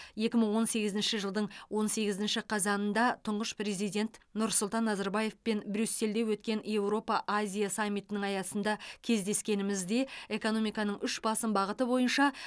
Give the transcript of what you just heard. екі мың он сегізінші жылдың он сегізінші қазанында тұңғыш президент нұрсұлтан назарбаевпен брюссельде өткен еуропа азия саммитінің аясында кездескенімізде экономиканың үш басым бағыты бойынша